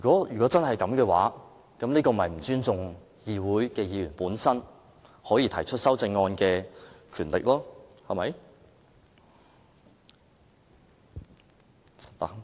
如果真是這樣，這便是不尊重議會議員提出修正案的權力，對嗎？